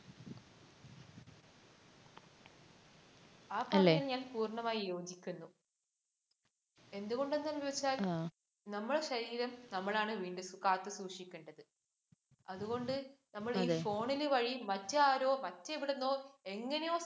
ആ പറഞ്ഞതില്‍ ഞാന്‍ പൂര്‍ണമായി യോജിക്കുന്നു. എന്തുകൊണ്ടാന്നു വച്ചാല്‍ നമ്മുടെ ശരീരം നമ്മളാണ് കാത്ത് സൂക്ഷിക്കേണ്ടത്. അതുകൊണ്ട് നമ്മള്‍ ഈ phone ന് വഴി മറ്റാരോ മറ്റെവിടുന്നോ എങ്ങിനെയോ,